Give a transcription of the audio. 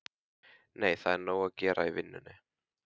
Nei, það er nóg að gera í vinnunni.